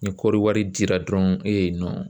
Ni kɔɔri wari dira dɔrɔn e